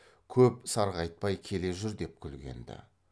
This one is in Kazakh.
көп сарғайтпай келе жүр деп күлгенді